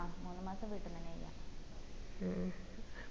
ആ മൂന്ന് മാസം വീട്ടീന്ന് തന്നെ ചെയ്യാം